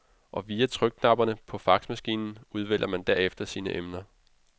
Og via trykknapperne på faxmaskinen udvælger man derefter sine emner.